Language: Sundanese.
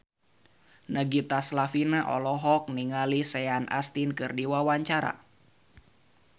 Nagita Slavina olohok ningali Sean Astin keur diwawancara